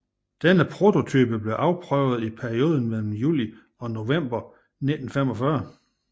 Denne prototype blev afprøvet i perioden mellem juli og november 1945